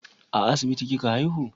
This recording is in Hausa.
A asibiti kika haihu?